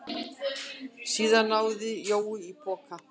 Síðan náði Jói í poka.